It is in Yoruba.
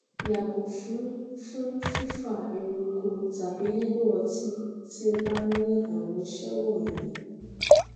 yàgo fun fun fifa eruku tàbí lílo ọtí tí ó bá ní àwọn ìṣe wọnyí